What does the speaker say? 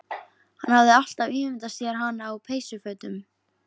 Hann hafði alltaf ímyndað sér hana á peysufötum